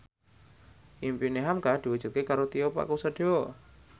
impine hamka diwujudke karo Tio Pakusadewo